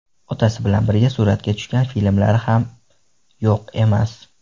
Otasi bilan birga suratga tushgan filmlari ham yo‘q emas.